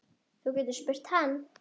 Þú getur spurt hann.